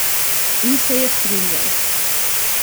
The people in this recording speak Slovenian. In se je strinjal.